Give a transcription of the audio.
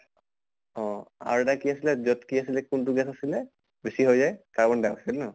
আৰু এটা কি আছিলে যʼত কি আছিলে কোনটো gas আছিলে বেছি হৈ যায় carbon di oxide ন?